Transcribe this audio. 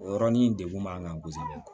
O yɔrɔnin degun b'an kan kosɛbɛ